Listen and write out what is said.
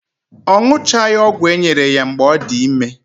Ọ ṅụchaghị ọgwụ enyere ya mgbe ọ dị ime